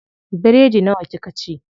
Biredi nawa kika ci?